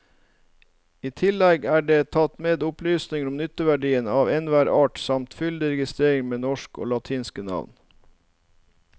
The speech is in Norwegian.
I tillegg er det tatt med opplysninger om nytteverdien av enhver art samt fyldig reigister med norske og latinske navn.